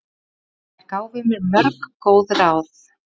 Þær gáfu mér mörg góð ráð.